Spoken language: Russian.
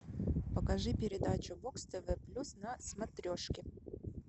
покажи передачу бокс тв плюс на смотрешке